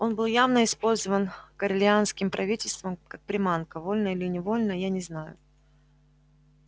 он был явно использован корелианским правительством как приманка вольно или невольно я не знаю